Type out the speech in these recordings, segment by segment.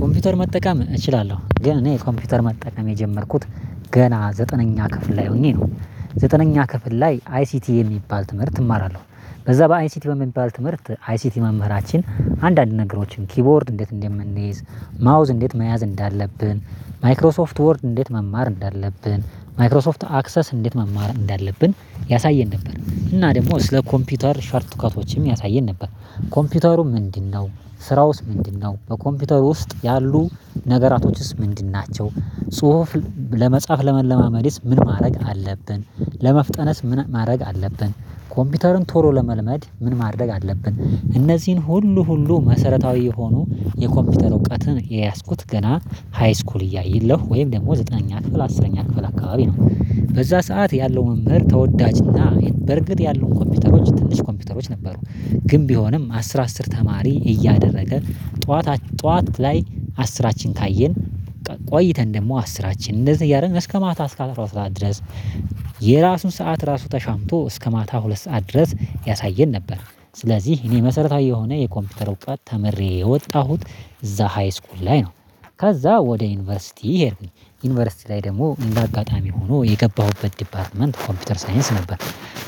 ኮምፒውተር መጠቀም እችላለሁ ግን እኔ ኮምፒውተር መጠቀም የጀመርኩት ገና ዘጠነኛ ክፍል ላይ ሆኜ ነው። ዘጠነኛ ክፍል ላይ አይሲቲ የሚባል ትምህርት እማራለሁ በዛ በአይሲቲ በሚባል ትምህርት አይሲቲ መምህራችን አንዳንድ ነገሮችን ኪቦርድ እንዴት እንደምንይዝ ማውዝ እንዴት መያዝ እንዳለብን ማይክሮሶፍት ወርድ እንዴት መማር እንዳለብን ማይክሮሶፍት አክሰስ እንዴት መማር እንዳለብን ያሳየን ነበር። እና ደግሞ ስለ ኮምፒውተር ሾርቱካቶችም ያሳየን ነበር። ኮምፒውተሩ ምንድነው? ስራውስ ምንድነው? በኮምፒውተሩ ውስጥ ያሉ ነገራቶችስ ምንድን ናቸው? ጽሁፍ ለመጻፍ ለመለማመድስ ምን ማድረግ አለብን? ለመፍጠነስ ምን ማድረግ አለብን? ኮምፒውተሩን ቶሎ ለመልመድ ምን ማድረግ አለብን? እነዚህን ሁሉ ሁሉ መሰረታዊ የሆኑ የኮምፒውተር እውቀትን የያዝኩት ገና ሃይስኩል እያየለሁ ወይም ደግሞ ዘጠነኛ ክፍል አስረኛ ክፍል አካባቢ ነው። በዛ ሰዓት ያለው መምህር ተወዳጅና በርግጥ ያለው ኮምፒውተሮች ትንሽ ኮምፒውተሮች ነበሩ። ግን ቢሆንም አስር አስር ተማሪ እያደረገ ጠዋት ጠዋት ላይ አስራችን ካየን ቆይተን ደግሞ አስራችን እንደዚህ እያደረንክ እስከ ማታ እስከ አትሮ ሰዓት ድረስ። የራሱን ሰዓት ራሱ ተሻምቶ እስከ ማታ ሁለት ሰዓት ድረስ ያሳየን ነበር። ስለዚህ እኔ መሰረታዊ የሆነ የኮምፒውተር እውቀት ተምሬ የወጣሁት እዛ ሃይስኩል ላይ ነው። ከዛ ወደ ዩኒቨርሲቲ ሄድኩ። ዩኒቨርሲቲ ላይ ደግሞ እንደ አጋጣሚ ሆኖ የገባሁበት ዲፓርትመንት ኮምፒውተር ሳይንስ ነበር።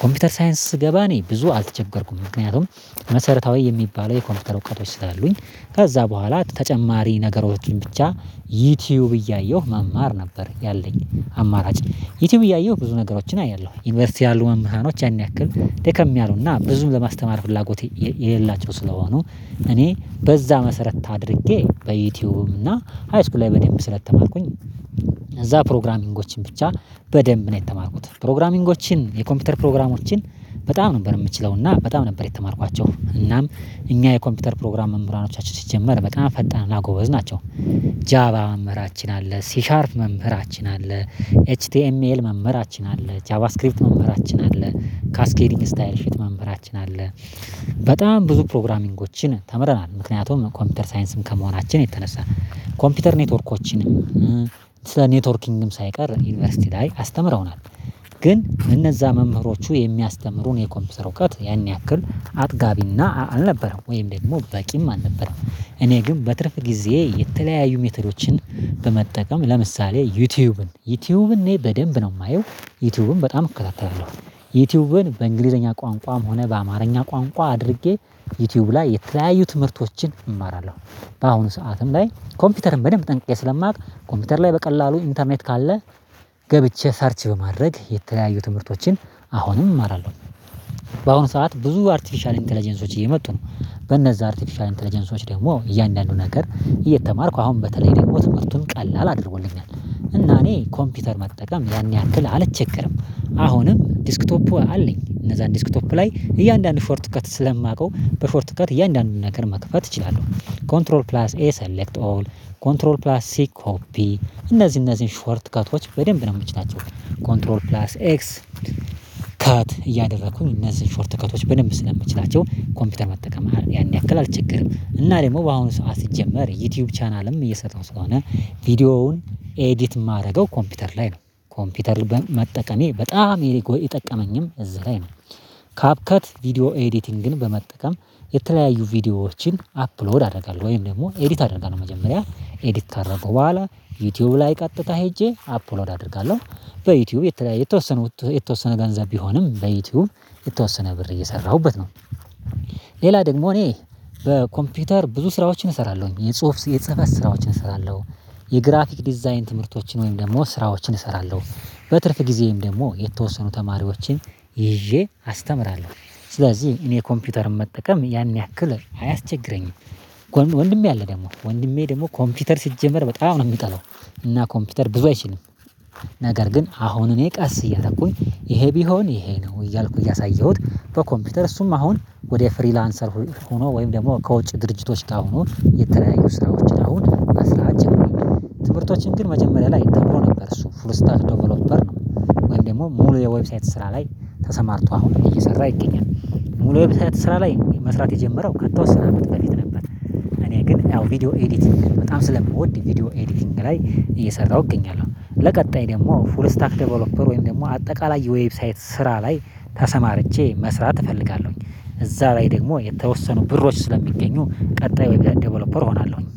ኮምፒውተር ሳይንስ ስገባ እኔ ብዙ አልተቸገርኩም ምክንያቱም። መሰረታዊ የሚባለው የኮምፒውተር እውቀቶች ስላሉኝ ከዛ በኋላ ተጨማሪ ነገሮችን ብቻ ዩቲዩብ እያየሁ መማር ነበር ያለኝ። አማራጭ ዩቲዩብ እያየሁ ብዙ ነገሮችን አያለሁ ዩኒቨርሲቲ ያሉ መምህራኖች ያን ያክል ደከም ያሉና ብዙም ለማስተማር ፍላጎት የሌላቸው ስለሆኑ። እኔ በዛ መሰረት አድርጌ በዩቲዩብ እና ሃይስኩል ላይ በደንብ ስለተማርኩኝ። እዛ ፕሮግራሚንጎችን ብቻ በደንብ ነው የተማርኩት ፕሮግራሚንጎችን የኮምፒውተር ፕሮግራሞችን። በጣም ነበር የምችለው እና በጣም ነበር የተማርኳቸው እናም እኛ የኮምፒውተር ፕሮግራም መምህራኖቻችን ሲጀመር በቃ ፈጣንና ጎበዝ ናቸው። ጃባ መምህራችን አለ ሲሻርፕ መምህራችን አለ። ኤች ቲ ኤም ኤል መምህራችን አለ ቻባስክሪፕት መምህራችን አለ። ካስኬዲንግ ስታይል ሽት መምህራችን አለ። በጣም ብዙ ፕሮግራሚንጎችን ተምረናል ምክንያቱም ኮምፒውተር ሳይንስም ከመሆናችን የተነሳ ኮምፒውተር ኔትወርኮችን ስለ ኔትወርኪንግም ሳይቀር ዩኒቨርሲቲ ላይ አስተምረውናል። ግን እነዛ መምህሮቹ የሚያስተምሩን የኮምፒውተር እውቀት ያን ያክል አጥጋቢና አልነበረም ወይ ደግሞ በቂም አልነበረም። እኔ ግን በትርፍ ጊዜ የተለያዩ ሜተዶችን በመጠቀም ለምሳሌ ዩቲዩብን ዩቲዩብን እኔ በደንብ ነው የማየው። ዩቲዩብን በጣም እከታተላለው። ዩቲዩብን በእንግሊዘኛ ቋንቋም ሆነ በአማርኛ ቋንቋ አድርጌ ዩቲዩብ ላይ የተለያዩ ትምህርቶችን እማራለሁ። በአሁኑ ሰዓትም ላይ ኮምፒውተርን በደንብ ጠንቅቄ ስለማውቅ ኮምፒውተር ላይ በቀላሉ ኢንተርኔት ካለ። ገብቼ ሰርች በማድረግ የተለያዩ ትምህርቶችን አሁንም እማራለሁ። በአሁኑ ሰዓት ብዙ አርቲፊሻል ኢንተለጀንሶች እየመጡ ነው። በነዛ አርቴፊሻል ኢንተለጀንሶች ደግሞ እያንዳንዱ ነገር እየተማርኩ አሁን በተለይ ደግሞ ትምህርቱን ቀላል አድርጎልኛል። እና እኔ ኮምፒውተር መጠቀም ያን ያህል አልችገርም። አሁንም ዲስክቶፑ አለኝ እነዛን ዲስክቶፕ ላይ እያንዳንዱ ሾርት ከት ስለማውቀው በሾርት ከት እያንዳንዱን ነገር መክፈት እችላለሁ። ኮንትሮል ፕላስ ኤ ሰሌክት ኦል ኮንትሮል ፕላስ ሲ ኮፒ። እነዚህ እነዚህን ሾርት ከቶች በደንብ ነው የምችላቸው። ኮንትሮል ፕላስ ኤክስ ከት እያደረኩ እነዚህን ሾርት ከቶች በደንብ ስለምትችላቸው ኮምፒውተር መጠቀም ያን ያክል አልቸገርም። እና ደግሞ በአሁኑ ሰው አስጀመር ዩቲዩብ ቻናልም እየሰጠው ስለሆነ ቪዲዮውን ኤዲት የማደርገው ኮምፒውተር ላይ ነው። ኮምፒውተር በመጠቀሜ በጣም የሚጠቀመኝም እዚህ ላይ ነው። ካፕከት ቪዲዮ ኤዲቲንግን በመጠቀም የተለያዩ ቪዲዮዎችን አፕሎድ አደርጋለሁ ወይም ደግሞ ኤዲት አደረገው መጀመሪያ ኤዲት ካደረገው በኋላ ዩቲዩብ ላይ ቀጥታ ሄጄ አፖሎድ አደርጋለሁ። በዩቲዩብ የተለያየ የተወሰነ የተወሰነ ገንዘብ ቢሆንም በዩቲዩብ የተወሰነ ብር እየሰራሁበት ነው። ሌላ ደግሞ እኔ በኮምፒውተር ብዙ ስራዎችን እሰራለሁኝ የጽሁፍ የጽህፈት ስራዎችን እሰራለሁ። የግራፊክ ዲዛይን ትምህርቶችን ወይም ደግሞ ስራዎችን እሰራለሁ። በትርፍ ጊዜም ደግሞ የተወሰኑ ተማሪዎችን ይዤ አስተምራለሁ። ስለዚህ እኔ ኮምፒውተርን መጠቀም ያን ያክል አያስቸግረኝም። ወንድሜ አለ ደግሞ ወንድሜ ደግሞ ኮምፒውተር ሲጀመር በጣም ነው የሚጠላው። እና ኮምፒውተር ብዙ አይችልም። ነገር ግን አሁን እኔ ቀስ እያለኩኝ ይሄ ቢሆን ይሄ ነው እያልኩ እያሳየሁት በኮምፒውተር እሱም አሁን ወደ ፍሪላንሰር ሆኖ ወይም ደግሞ ከውጭ ድርጅቶች ካሁኑ የተለያየ ስራዎችን አሁን በስራዎች ትምህርቶችን ግን መጀመሪያ ላይ ተብሎ ነበር እሱ ፉል ስታክ ዴቨሎፐር ነው። ወይም ደግሞ ሙሉ ዌብሳይት ስራ ላይ ተሰማርቶ አሁን እየሰራ ይገኛል። ሙሉ ዌብሳይት ላይ መስራት የጀመረው ከተወሰነ መጥበያት ነበር እኔ ግን ያው ቪዲዮ ኤዲቲንግ በጣም ስለምወድ ቪዲዮ ኤዲቲንግ ላይ እየሰራሁ እገኛለሁ። ለቀጣይ ደግሞ ፉል ስታክ ዴቨሎፐር ወይም ደግሞ አጠቃላይ ዌብሳይት ስራ ላይ ተሰማርቼ መስራት እፈልጋለሁኝ። እዛ ላይ ደግሞ የተወሰኑ ብሮች ስለሚገኙ ቀጣዩ ወይ ዴቨሎፐር እሆናለሁኝ